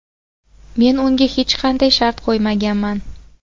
Men unga hech qanday shart qo‘ymaganman.